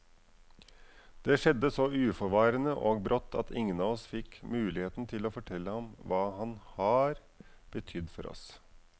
Det skjedde så uforvarende og brått at ingen av oss fikk muligheten til å fortelle ham hva han har betydd for oss.